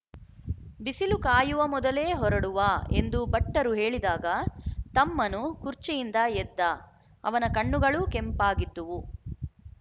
ಬಿಸಿಲು ಕಾಯುವ ಮೊದಲೇ ಹೊರಡುವಾ ಎಂದು ಭಟ್ಟರು ಹೇಳಿದಾಗ ತಮ್ಮನು ಖುರ್ಚಿಯಿಂದ ಎದ್ದ ಅವನ ಕಣ್ಣುಗಳೂ ಕೆಂಪಾಗಿದ್ದುವು